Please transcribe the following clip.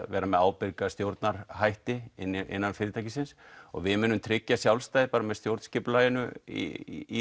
vera með ábyrga stjórnarhætti innan fyrirtækisins við munum tryggja sjálfstæði með stjórnskipulaginu í